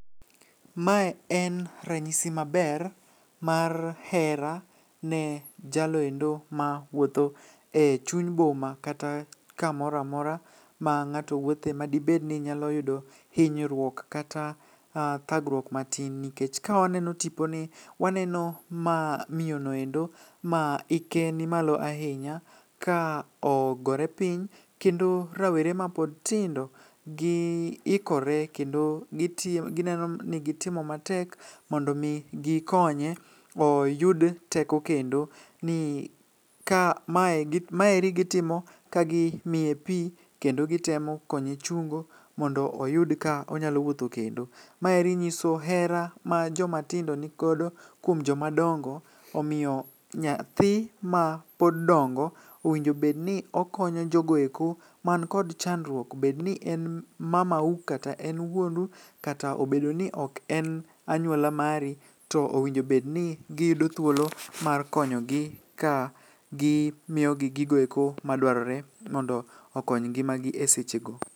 Mae en ranyisi maber mar hera ne jaloendo ma wuotho e chuny boma kata kamora mora ma ng'ato wuothe ma dibedni nyalo yudo hinyruok kata thagruok matin. Nikech ka waneno tipo ni waneno miyonoendo ma hike ni malo ahinya, ka ogore piny. Kendo rawere ma pod tindo gi ikore kendo giti gineno ni gitimo matek mondo mi gikonye oyud teko kendo. Ni ka mae maeri gitimo kagi miye pi kendo gitemo konye chungo mondo oyud ka onyalo wuotho kendo. Maeri nyiso hera ma joma tindo nigodo kuom joma dongo, omiyo nyathi ma pod dongo, owinjobedni okonyo jogoeko man kod chandruok. Bedni en mamau kata en wuonu, kata obedo ni ok en anyuola mari, to owinjobedni giyudo thuolo mar konyogi ka gimiyogi gigoeko madwarore mondo okony ngimagi e seche go.